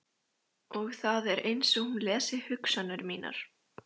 Og það er einsog hún lesi hugsanir mínar.